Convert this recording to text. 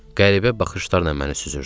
Qəribə baxışlarla məni süzürdü.